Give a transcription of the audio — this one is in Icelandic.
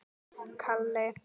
Þekki ég þessa stelpu?